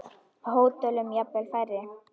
Á hótelum jafnvel færri.